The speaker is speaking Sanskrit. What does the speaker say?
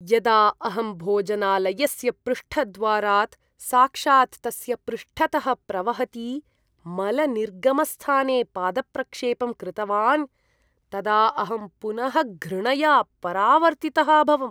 यदा अहं भोजनालयस्य पृष्ठद्वारात् साक्षात् तस्य पृष्ठतः प्रवहति मलनिर्गमस्थाने पादप्रक्षेपं कृतवान् तदा अहं पुनः घृणया परावर्तितः अभवम्।